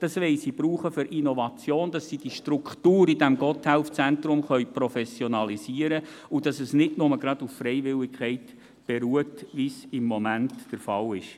es herankommen möchten, für Innovation verwenden, damit die Struktur im GotthelfZentrum professionalisiert werden können und es nicht nur auf Freiwilligkeit beruht, wie dies im Moment der Fall ist.